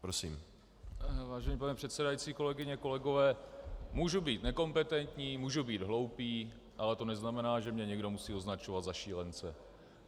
Vážený pane předsedající, kolegyně, kolegové, můžu být nekompetentní, můžu být hloupý, ale to neznamená, že mě někdo musí označovat za šílence.